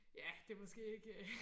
Ja det måske ikke